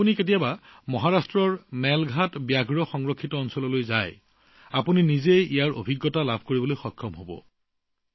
যদি আপুনি কেতিয়াবা মহাৰাষ্ট্ৰৰ মেলঘাট বাঘ সংৰক্ষিত বনাঞ্চললৈ যায় তেন্তে আপুনি নিজেই অনুভৱ কৰিব পাৰে